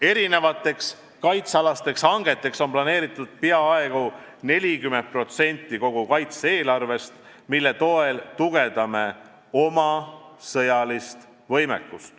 Erinevateks kaitsealasteks hangeteks on planeeritud peaaegu 40% kogu kaitse-eelarvest, mille toel me tugevdame oma sõjalist võimekust.